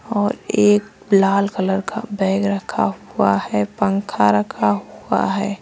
और एक लाल कलर का बैग रखा हुआ है पंखा रखा हुआ है।